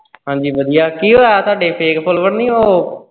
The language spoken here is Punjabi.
ਹਾਂਜੀ ਵਧੀਆ ਕੀ ਹੋਇਆ ਤੁਹਾਡੇ fake follower ਨੀ ਓਹ।